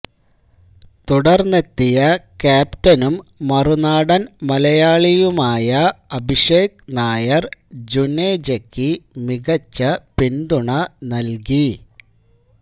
തുടര്ന്നെത്തിയ ക്യാപ്റ്റനും മറുനാടന് മലയാളിയുമായ അഭിഷേക് നായര് ജുനേജക്ക് മികച്ച പിന്തുണ നല്കി